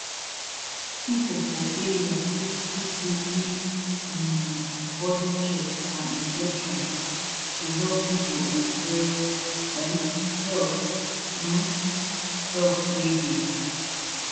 people for area fit dey give um body check and injection to help people enjoy um health um help wey dey